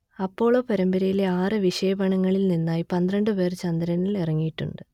Apollo പരമ്പരയിലെ ആറ് വിക്ഷേപണങ്ങളിൽ നിന്നായി പന്ത്രണ്ട് പേർ ചന്ദ്രനിൽ ഇറങ്ങിയിട്ടുണ്ട്